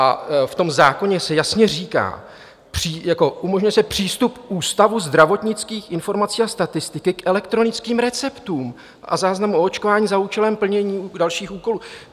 A v tom zákoně se jasně říká: umožňuje se přístup Ústavu zdravotnických informací a statistiky k elektronickým receptům a záznamům o očkování za účelem plnění dalších úkolů.